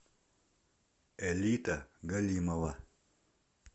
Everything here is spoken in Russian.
элита галимова